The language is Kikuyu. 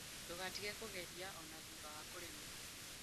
Ndũgatige kũgeria, o na thutha wa kũremwo.